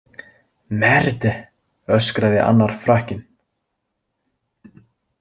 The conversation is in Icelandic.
Merde, öskraði annar Frakkinn.